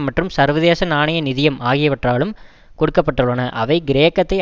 மற்றும் சர்வதேச நாணய நிதியம் ஆகியவற்றாலும் கொடுக்கப்பட்டுள்னன அவை கிரேக்கத்தை